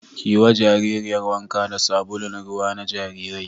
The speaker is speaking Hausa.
Ki yi wa jaririyar wanka da sabulun ruwa na jarirai